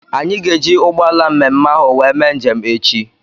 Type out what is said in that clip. Anyị ga-eji ụgbọala mme mme ahụ wee mee njem echi.